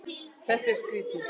Þetta er svo skrýtið.